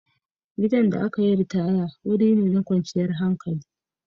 Gidan da aka yi ritaya wuri ne da kwanciyar hankali.